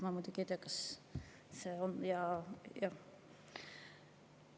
Ma muidugi ei tea, kas see on.